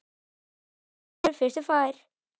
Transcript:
Fyrstur kemur, fyrstur fær!